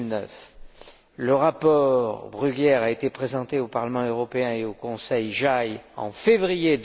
2009. Ce rapport a été présenté au Parlement européen et au Conseil JAI en février